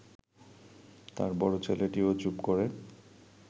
তাঁর বড় ছেলেটিও চুপ করে